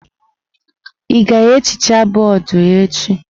Ị ga-ehicha bọọdụ echi?